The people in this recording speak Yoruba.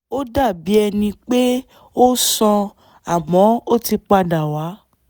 ó dàbí ẹni pé ó sàn àmọ́ ó ti padà wá